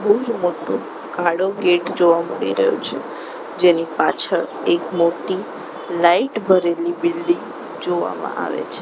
બહુ જ મોટો કાળો ગેટ જોવા મળી રહ્યો છે જેની પાછળ એક મોટી લાઈટ ભરેલી બિલ્ડીંગ જોવામાં આવે છે.